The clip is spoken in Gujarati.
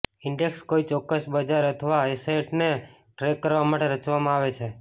ઈન્ડેક્સ કોઈ ચોક્કસ બજાર અથવા એસેટને ટ્રેક કરવા માટે રચવામાં આવે છે